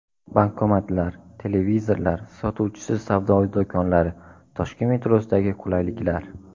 Bankomatlar, televizorlar, sotuvchisiz savdo do‘konlari: Toshkent metrosidagi qulayliklar.